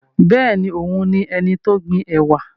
Bẹ́ẹ̀ni, òun ni ẹnití ó gbin ẹ̀wà